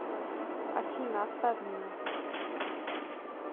афина оставь меня